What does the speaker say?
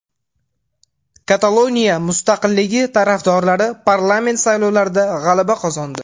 Kataloniya mustaqilligi tarafdorlari parlament saylovlarida g‘alaba qozondi.